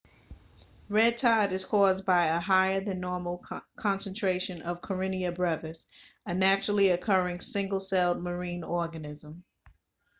red tide is caused by a higher than normal concentration of karenia brevis a naturally-occurring single-celled marine organism